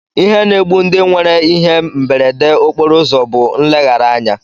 Ihe na-egbu ndị nwere ihe mberede okporoụzọ bụ nleghara anya